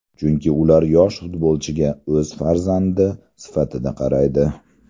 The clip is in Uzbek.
Chunki ular yosh futbolchiga o‘z farzandi sifatida qaraydi.